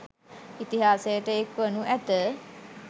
ඉතිහාසයට එක් වනු ඇත.